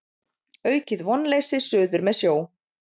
Aukið vonleysi suður með sjó